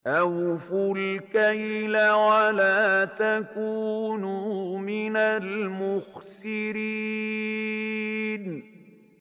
۞ أَوْفُوا الْكَيْلَ وَلَا تَكُونُوا مِنَ الْمُخْسِرِينَ